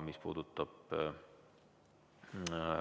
Mis puudutab